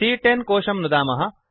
सी॰॰10 कोशं नुदामः